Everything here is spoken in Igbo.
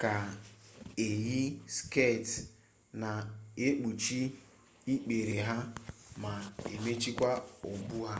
ga-eyi sket na-ekpuchi ikpere ha ma mechiekwa ubu ha